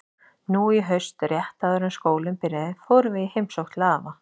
Nú í haust, rétt áður en skólinn byrjaði, fórum við í heimsókn til afa.